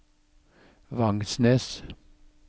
Vangsnes